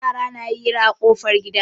Yara na hira a ƙofar gida.